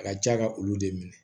A ka ca ka olu de minɛ